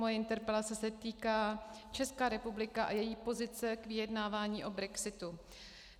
Moje interpelace se týká České republiky a její pozice ve vyjednávání o brexitu.